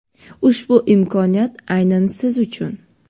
ushbu imkoniyat aynan siz uchun.